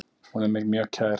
Hún er mér mjög kær.